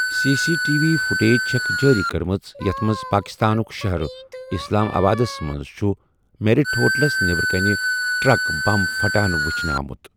C C T V footage چھَکھ جٲری کٔرمٕژ یَتھ منٛز پاکستانُک شَہر اسلام آبادَس منٛز چھُ میریٹ ہوٹلَس نٮ۪برٕ کَنۍ ٹرک بم پھٹان ؤچھنہٕ آمُت۔